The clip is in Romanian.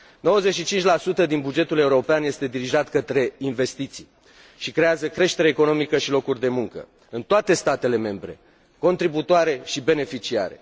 95 din bugetul european este dirijat către investiții și creează creștere economică și locuri de muncă, în toate statele membre, contributoare și beneficiare.